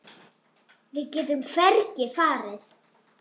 Við getum hvergi farið.